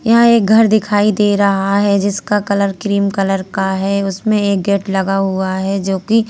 ये एक घर दिखाई दे रहा है जिसका कलर क्रीम कलर का है उसमें एक गेट लगा हुआ है जोकि--